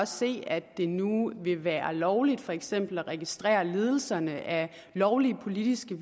se at det nu vil være lovligt for eksempel at registrere ledelserne af lovlige politiske